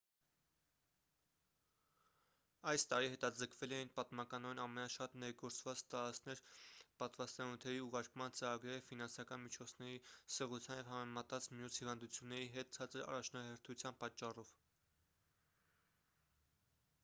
այս տարի հետաձգվել էին պատմականորեն ամենաշատ ներգործված տարածքներ պատվաստանյութերի ուղարկման ծրագրերը ֆինանսական միջոցների սղության և համեմատած մյուս հիվանդությունների հետ ցածր առաջնահերթության պատճառով